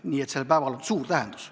Nii et sel päeval on suur tähendus.